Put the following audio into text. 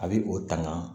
A bɛ o tanga